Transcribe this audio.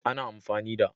Ana amfani da